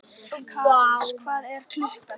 Karles, hvað er klukkan?